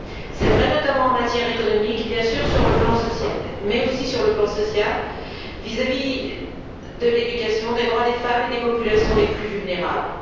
C'est vrai notamment en matière économique bien sûr, mais aussi sur le plan social, vis à vis de l'éducation, des droits des femmes et des populations les plus vulnérables.